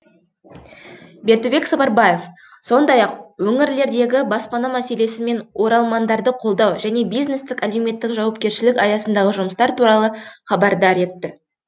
бердібек сапарбаев сондай ақ өңірлердегі баспана мәселесі мен оралмандарды қолдау және бизнестік әлеуметтік жауапкершілік аясындағы жұмыстар туралы хабардар етті